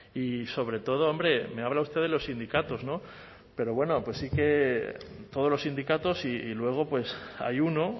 y sobre todo hombre me habla usted de los sindicatos pero bueno pues sí que todos los sindicatos y luego hay uno